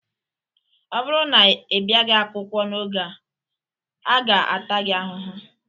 Ọ bụrụ na ịbiaghi akwụkwọ n'oge, a ga ata gị ahụhụ!